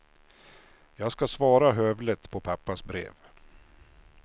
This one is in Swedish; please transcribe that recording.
Jag ska svara hövligt på pappas brev.